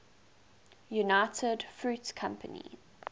united fruit company